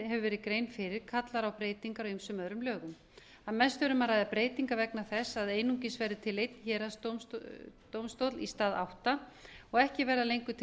hefur verið gerð grein fyrir kallar á breytingar á ýmsum öðrum lögum að mestu er um að ræða breytingar vegna þess að einungis verði til einn héraðsdómstóll í stað átta og ekki verða lengur til